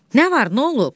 Nə var, nə olub?